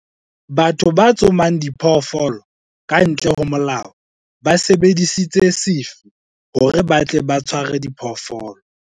batho ba tsomang diphoofolo ka ntle ho molao ba sebedisitse sefi hore ba tle ba tshwaare diphoofolo